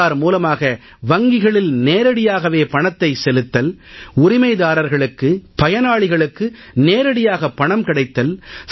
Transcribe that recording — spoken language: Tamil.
ஆதார் மூலமாக வங்கிகளில் நேரடியாகவே பணத்தை செலுத்தல் உரிமைதாரர்களுக்கு பயனாளிகளுக்கு நேரடியாக பணம் கிடைத்தல்